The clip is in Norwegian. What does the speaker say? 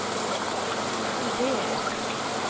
ideer